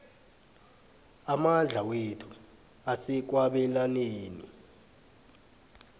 amandla wethu asekwabelaneni